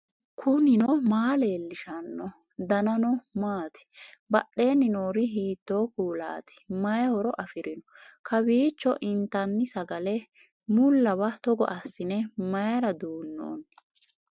knuni maa leellishanno ? danano maati ? badheenni noori hiitto kuulaati ? mayi horo afirino ? kowiicho intanni sagale mullawa togo assine mayra duunnnoonni